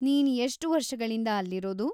ನೀನ್‌ ಎಷ್ಟ್‌ ವರ್ಷಗಳಿಂದ ಅಲ್ಲಿರೋದು?